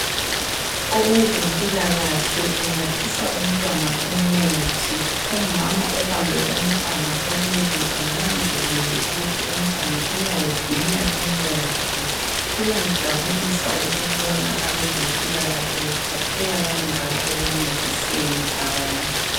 Owezempilakahle unathisa umntwana umuthi, umama ubambe umntwana ukuze ananzelele ukuthi umntwana uyawuginya lumuthi. Kuyamjabulisa ukubona abezempilakahle bephatheka kangaka ekuncediseni abantu.